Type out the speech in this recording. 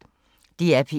DR P1